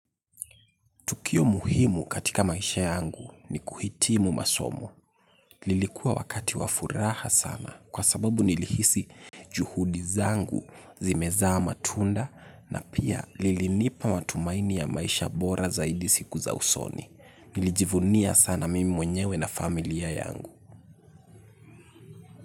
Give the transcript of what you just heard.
Tukio muhimu katika maisha yangu ni kuhitimu masomo. Lilikuwa wakati wa furaha sana kwa sababu nilihisi juhudi zangu zimezaa matunda na pia lilinipa matumaini ya maisha bora zaidi siku za usoni. Najivunia mimi mwenyewe na familia yangu.